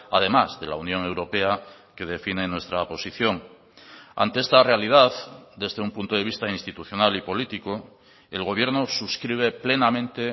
además de la unión europea que define nuestra posición ante esta realidad desde un punto de vista institucional y político el gobierno suscribe plenamente